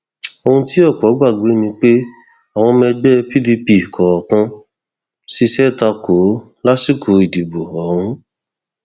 ohun tí ọpọ gbàgbọ ni pé àwọn ọmọ ẹgbẹ pdp kọọkan ṣiṣẹ ta kò ó lásìkò ìdìbò ọhún